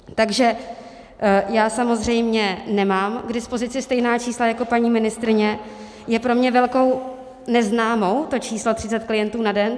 Takže já samozřejmě nemám k dispozici stejná čísla jako paní ministryně, je pro mě velkou neznámou to číslo 30 klientů na den.